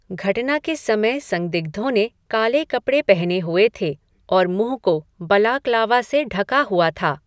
घटना के समय संदिग्धों ने काले कपड़े पहने हुए थे और मुंह को बलाक्लावा से ढका हुआ था ।